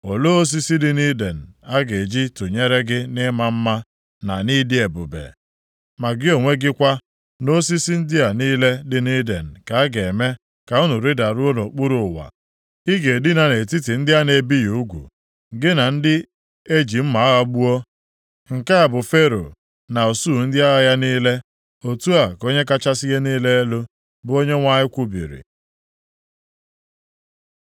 “ ‘Olee osisi dị nʼIden a ga-eji tụnyere gị nʼịma mma, na nʼịdị ebube? Ma gị onwe gị kwa, na osisi ndị a niile dị nʼIden ka a ga-eme ka unu rịdaruo nʼokpuru ụwa. Ị ga-edina nʼetiti ndị a na-ebighị ugwu, gị na ndị eji mma agha gbuo. “ ‘Nke a bụ Fero na usuu ndị agha ya niile, otu a ka Onye kachasị ihe niile elu, bụ Onyenwe anyị kwubiri.’ ”